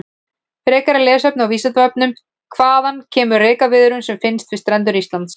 Frekara lesefni á Vísindavefnum: Hvaðan kemur rekaviðurinn sem finnst við strendur Íslands?